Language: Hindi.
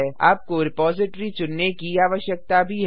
आपको रिपॉजिटरी चुनने की आवश्यकता भी है